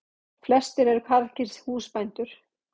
Flestir eru karlkyns húsbændur.